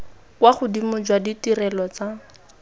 kwa godimo jwa ditirelo tsa